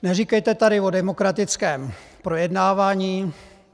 Neříkejte tady o demokratickém projednávání.